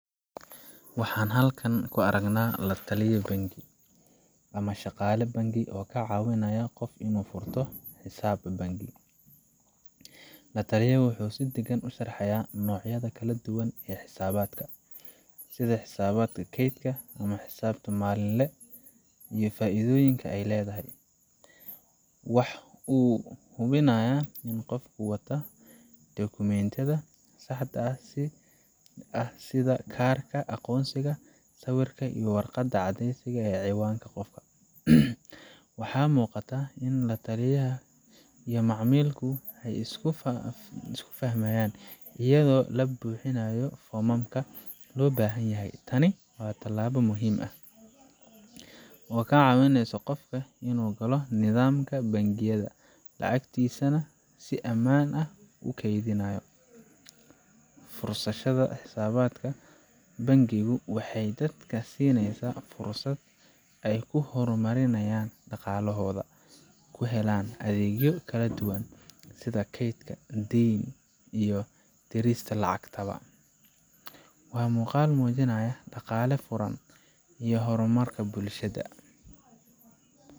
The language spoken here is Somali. Waxa aan halkan ku aragnaa waa la taliye bangi ama shaqaale bangi oo ka caawinaya qof inuu furto xisaab bangi. La taliyaha wuxuu si deggan u sharxayaa noocyada kala duwan ee xisaabaadka sida xisaab keyd ah ama xisaab maalinle ah iyo faa’iidooyinka ay leedahay. Waxa uu hubinayaa in qofka wata dukumentiyada saxda ah sida kaarka aqoonsiga, sawir, iyo warqad caddeyneysa cinwaanka qofka. Waxaa muuqata in la taliyaha iyo macmiilku ay isku fahmayaan, iyadoo la buuxinayo foomamka loo baahan yahay. Tani waa tallaabo muhiim ah oo ka caawinaysa qofka inuu galo nidaamka bangiyada, lacagtiisana si amaan ah ugu keydinayo. Furashada xisaabta bangigu waxay dadka siinaysaa fursad ay ku horumarinayaan dhaqaalahooda, ku helaan adeegyo kala duwan sida kayd, deyn, iyo dirista lacagta. Waa muuqaal muujinaya dhaqaale furan iyo horumar bulshada.